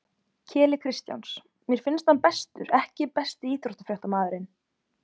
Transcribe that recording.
Keli Kristjáns mér finnst hann bestur EKKI besti íþróttafréttamaðurinn?